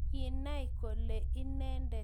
Kinai kole inendet kapsa